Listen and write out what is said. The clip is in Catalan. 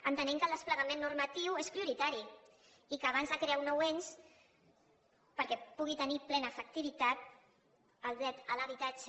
entenem que el desplegament normatiu és prioritari i que abans de crear un nou ens perquè pugui tenir plena efectivitat el dret a l’habitatge